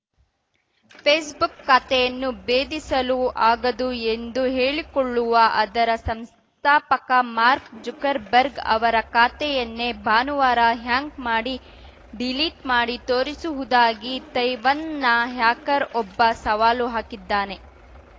Facebook ಖಾತೆಯನ್ನು ಭೇದಿಸಲು ಆಗದು ಎಂದು ಹೇಳಿಕೊಳ್ಳುವ ಅದರ ಸಂಸ್ಥಾಪಕ ಮಾರ್ಕ್ ಜುಕರ್‌ಬರ್ಗ್‌ ಅವರ ಖಾತೆಯನ್ನೇ ಭಾನುವಾರ ಹ್ಯಾಂಕ್‌ ಮಾಡಿ ಡಿಲೀಟ್‌ ಮಾಡಿ ತೋರಿಸುವುದಾಗಿ ತೈವನ್‌ನ ಹ್ಯಾಕರ್ ಒಬ್ಬ ಸವಾಲು ಹಾಕಿದ್ದಾನೆ